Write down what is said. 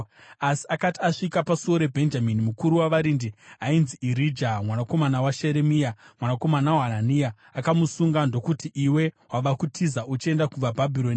Asi akati asvika paSuo raBhenjamini, mukuru wavarindi, ainzi Irija mwanakomana waSheremia, mwanakomana waHanania, akamusunga ndokuti, “Iwe wava kutiza uchienda kuvaBhabhironi!”